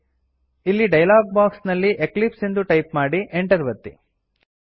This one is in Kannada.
ಇಲ್ಲಿ ಡಯಲಾಗ್ ಬಾಕ್ಸ್ ನಲ್ಲಿ ಎಕ್ಲಿಪ್ಸ್ ಎಂದು ಟೈಪ್ ಮಾಡಿ Enter ಒತ್ತಿ